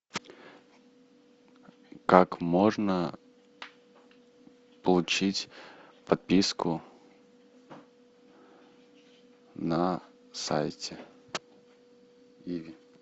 как можно получить подписку на сайте иви